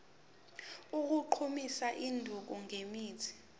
sokugqumisa isidumbu ngemithi